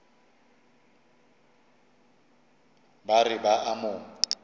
ba re ba a mo